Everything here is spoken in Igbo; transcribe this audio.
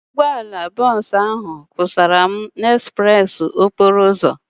Ọkwọ ụgbọala bọọsu ahu kwụsara m n'ezpreesi okporo ụzọ